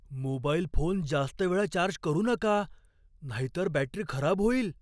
Mobile phone जास्त वेळा charge करू नका नाहीतर बॅटरी खराब होईल.